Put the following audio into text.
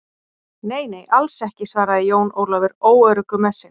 Nei, nei, alls ekki, svaraði Jón Ólafur óöruggur með sig.